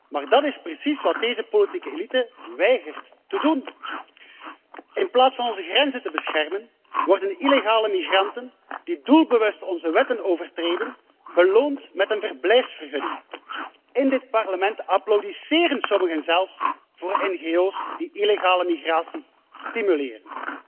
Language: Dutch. Maar dat is precies wat deze politieke elite weigert te doen. In plaats van onze grenzen te beschermen, worden illegale migranten die doelbewust onze wetten overtreden, beloond met een verblijfsvergunning. In dit Parlement applaudisseren sommigen zelfs voor ngo's die illegale migratie stimuleren.